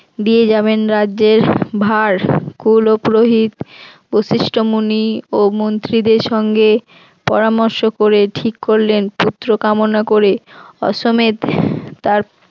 দিয়ে যাবেন রাজ্যের ভার কুলোপুরোহিত বৈশিষ্ট্য মুনি ও মন্ত্রীদের সঙ্গে পরামর্শ করে ঠিক করলেন পুত্র কামনা করে অশ্বমেধ তার